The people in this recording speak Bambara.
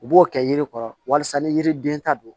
U b'o kɛ yiri kɔrɔ walasa ni yiriden ta don